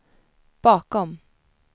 bakom